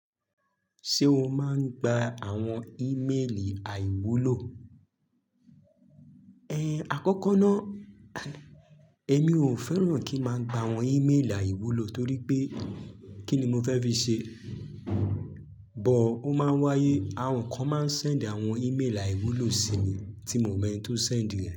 Ṣé o máa ń gba àwọn ímélì àìwúlò? Ẹn, àkọ́kọ́ ná, ẹmi ò fẹ́ràn kí n máa gba àwọn ímélì àìwúlò torí pé kí ni mo fẹ́ fi ṣe? But ó máa ń wáyé, àwọn kan máa ń sẹ̀nd àwọn ímélì àìwúlò sí mi tí mi ò mọ ẹni tó sẹ̀nd rẹ̀.